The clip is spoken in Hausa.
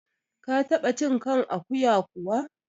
Ka taɓa cin kan akuya kuwa?